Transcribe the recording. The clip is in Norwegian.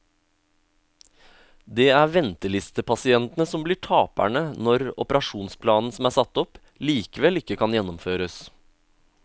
Det er ventelistepasientene som blir taperne når operasjonsplanen som er satt opp, likevel ikke kan gjennomføres.